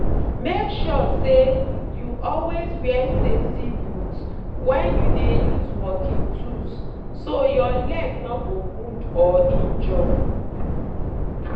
make sure say you always wear safety boot when you dey use working tools so your leg no go wound or injure.